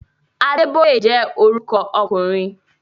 Adébóyè jẹ́ orúkọ ọkùnrin